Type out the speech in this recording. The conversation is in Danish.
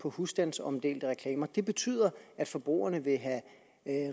på husstandsomdelte reklamer det betyder at forbrugerne vil have